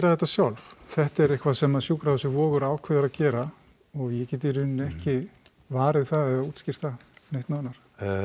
þetta sjálf þetta er eitthvað sem sjúkrahúsið Vogur ákveður að gera og ég get í rauninni ekki varið það eða útskýrt það neitt nánar